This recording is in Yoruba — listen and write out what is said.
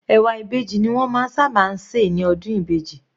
Ẹ̀wà Ìbejì ni wọ́n máa ń sábà se ní ọdún Ìbejì.